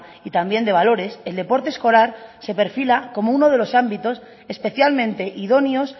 y también de valores el deporte escolar se perfila como uno de los ámbitos especialmente idóneos